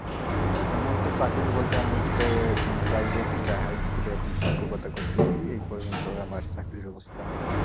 আমার তো চাকুরী বলতে আমি একটা private high school এ এখন শিক্ষকতা করতেছি এই পর্য্যন্তই আমার চাকরির অবস্থা।